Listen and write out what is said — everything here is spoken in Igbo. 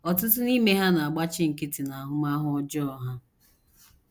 Ọtụtụ n’ime ha na - agbachi nkịtị n’ahụmahụ ọjọọ ha.